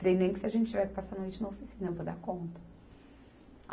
Falei, nem que se a gente tiver que passar a noite na oficina, eu vou dar conta.